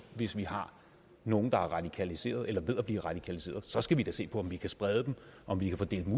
hvis vi har nogle der er radikaliserede eller er ved at blive radikaliserede så skal vi da se på om vi kan sprede dem om vi kan få dem